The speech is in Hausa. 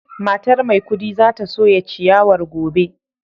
Matar maikudi za ta soya ciyawar gobe